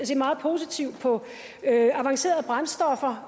set meget positivt på avancerede brændstoffer